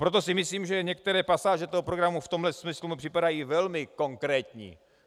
Proto si myslím, že některé pasáže toho programu v tomhle smyslu mi připadají velmi konkrétní.